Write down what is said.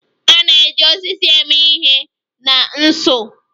A na-eji osisi eme ihe na nsu.